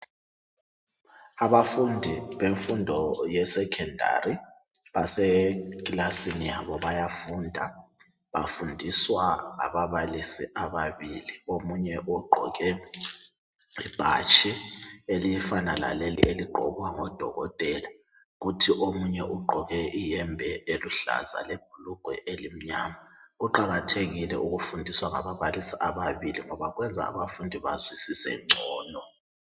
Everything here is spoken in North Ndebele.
Abafundi bemfundo ye sekhendari baseklasini yabo bayafunda bafundiswa ngababalisi ababili. Omunye ugqoke ibhatshi elifana laleli eligqokwa ngodokotela. Kuthi omunye ugqoke iyembe eluhlaza lebhulugwe elimnyama kuqakathekile ukufundiswa ngababalisi ababili ngoba kwenza ukuthi bazwisise ngcono.